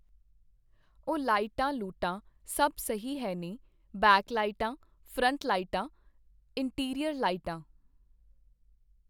ਉਹ ਲਾਈਟਾਂ ਲੂਟਾਂ ਸਭ ਸਹੀ ਹੈ ਨੇ, ਬੈਕ ਲਾਇਟਾਂ, ਫਰੰਟ ਲਾਇਟਾਂ, ਇੰਨਟੀਰੀਅਰ ਲਾਇਟਾਂ